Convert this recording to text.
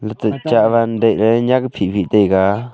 Latey chahwan dehle nyak phihphih taiga.